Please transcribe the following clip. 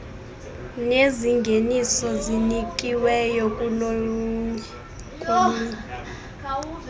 nezingeniso zinikiweyo kolunye